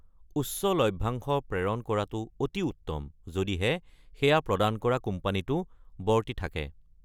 উচ্চ লভ্যাংশ প্ৰেৰণ কৰাটো অতি উত্তম, যদিহে সেয়া প্ৰদান কৰা কোম্পানীটো বৰ্তি থাকে।